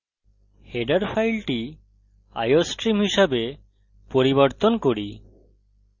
header file iostream হিসাবে পরিবর্তন করি